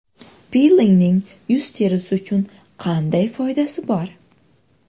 Pilingning yuz terisi uchun qanday foydasi bor?